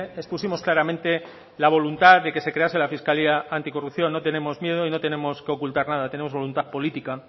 expusimos claramente la voluntad de que se crease la fiscalía anticorrupción no tenemos miedo y no tenemos que ocultar nada tenemos voluntad política